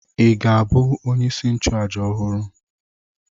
Ị ga-abụ onyeisi nchụàjà ọhụrụ?